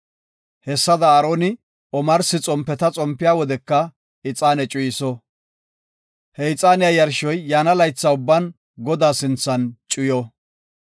Hessada, Aaroni omarsi xompeta xompiya wodeka ixaane cuyiso. He ixaaniya yarshoy yaana laytha ubban Godaa sinthan cuyo.